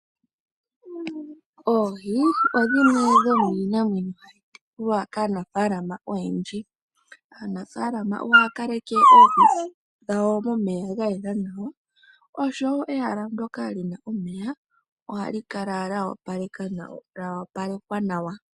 Oohi odhimwe dhomiinamwenyo hayi tekulwa kaanafaalama oyendji. Aanafaalama ohaya kaleke oohi dhawo momeya gayela nawa osho wo ehala ndoka lina omeya ohali kala lya opalekwa nawa.